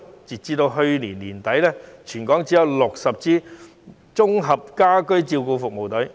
截至去年年底，全港只有60支綜合家居照顧服務隊。